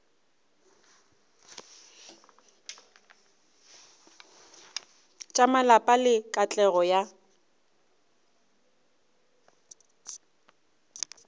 tša malapa le katlego ya